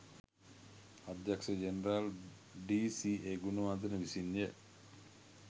අධ්‍යක්ෂ ජෙනරාල් ඩී.සී.ඒ. ගුණවර්ධන විසින්ය